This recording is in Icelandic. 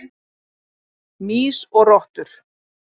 Mýs og rottur.